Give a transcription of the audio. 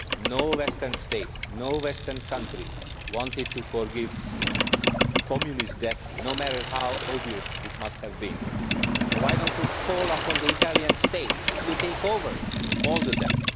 No western state, no western country wanted to forgive Communist debt, no matter how odious it must have been, so why do you not call on the Italian state to take over all the debt?